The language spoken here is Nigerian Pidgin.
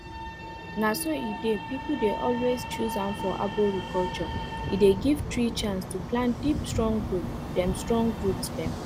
na so e dey people dey always choose am for arboriculture e dey give tree chance to plant deep strong root dem strong root dem